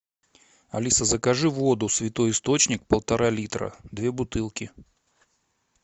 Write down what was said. алиса закажи воду святой источник полтора литра две бутылки